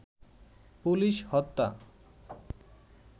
police হত্যা